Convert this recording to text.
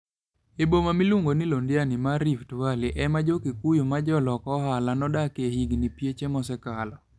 E boma miluongo ni Londiani mar Rift Valley, ema jo Kikuyu ma jolok ohala nodakie higini pieche mosekalo.